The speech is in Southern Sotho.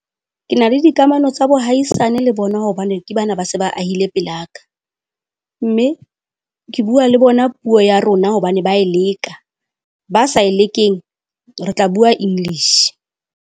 Ke na le dikamano tsa bohaisane le bona hobane ke bana ba se ba ahile pela ka. Mme ke bua le bona puo ya rona hobane ba e leka. Ba sa e lekeng re tla bua English.